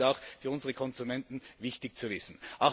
Das ist auch für unsere Konsumenten wichtig zu wissen.